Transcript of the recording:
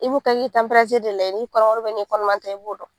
I b'u ka tanperatiri de lajɛ n'i kɔnɔma do n'i kɔnɔma tɛ i b'o dɔn.